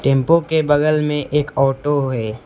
Tempo के बगल में एक आटो है।